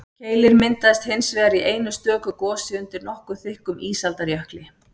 keilir myndaðist hins vegar í einu stöku gosi undir nokkuð þykkum ísaldarjökli